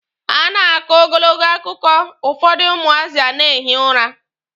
A na-akọ ogologo akụkọ, ụfọdụ ụmụazị a na-ehi ụra.